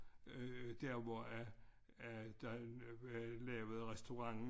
Øh der hvor at at der øh lavede restauranten